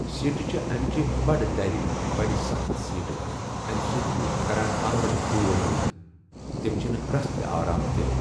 سیٖٹہٕ چھِ امِچہِ بَڑٕ دَرِ بَڑٕ سخٕت سیٖٹہٕ امہِ سۭتۍ چھُ کَران کَمرَس دود حَظ تِم چھنہٕ رَس تہِ آرام دِٮ۪ہہ۔